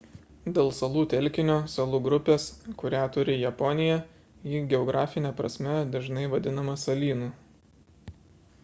dėl salų telkinio / salų grupės kurią turi japonija ji geografine prasme dažnai vadinama salynu